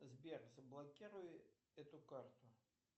сбер заблокируй эту карту